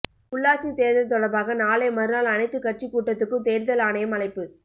உள்ளாட்சி தேர்தல் தொடர்பாக நாளை மறுநாள் அனைத்து கட்சி கூட்டத்துக்கு தேர்தல் ஆணையம் அழைப்பு